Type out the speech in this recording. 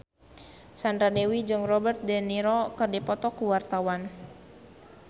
Sandra Dewi jeung Robert de Niro keur dipoto ku wartawan